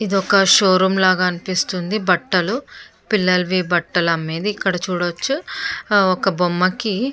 ఇది ఒక showroom లాగా అనిపిస్తుంది బట్టలు. పిల్లలకు బట్టలమ్మేది ఇక్కడ చూడొచ్చు. ఒక బొమ్మకి --